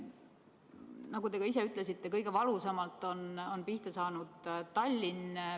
Nagu te ka ise ütlesite, on kõige valusamalt pihta saanud Tallinn.